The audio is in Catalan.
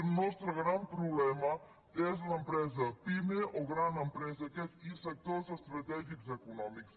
el nostre gran problema és l’empresa pime o gran empresa i sectors estratègics econòmics